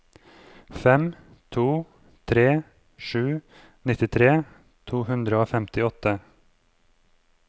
fem to tre sju nittitre to hundre og femtiåtte